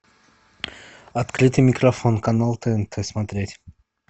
открытый микрофон канал тнт смотреть